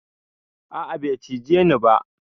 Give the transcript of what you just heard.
A'a bai cije ni ba.